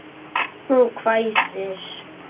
Hún hvæsir.